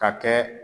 Ka kɛ